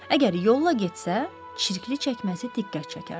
Əgər yolla getsə, çirkli çəkməsi diqqət çəkərdi.